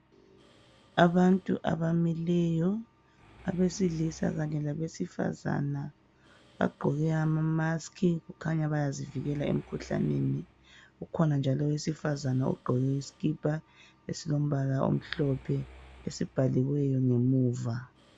Abantu abamileyo abesilisa kanye labesifazana bagqoke amamaski kukhanya bayazivikelela emikhuhlaneni. Kukhona njalo owesifazana ogqoke isikipa esilombala omhlophe esibhalwe emuva.